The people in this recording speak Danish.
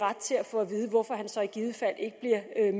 ret til at få at vide hvorfor han så i givet fald ikke